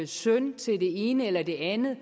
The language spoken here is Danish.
søn til det ene eller det andet